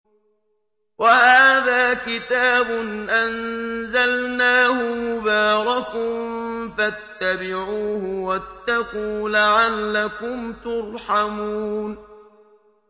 وَهَٰذَا كِتَابٌ أَنزَلْنَاهُ مُبَارَكٌ فَاتَّبِعُوهُ وَاتَّقُوا لَعَلَّكُمْ تُرْحَمُونَ